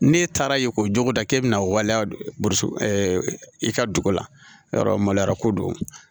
N'e taara ye k'o jogoda k'e bɛna waliya i ka dugu la yɔrɔ maloya ko don